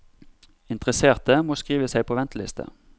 Interesserte må skrive seg på venteliste.